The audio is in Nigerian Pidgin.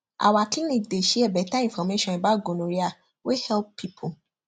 our clinic dey share better information about gonorrhea wey help people